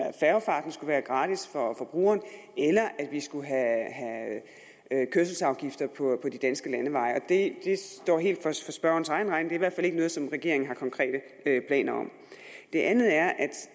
at færgefarten skulle være gratis for brugeren eller at vi skulle have kørselsafgifter på de danske landeveje det står helt for spørgerens egen regning i hvert fald ikke noget som regeringen har konkrete planer om det andet er